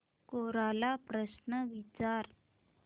कोरा ला प्रश्न विचार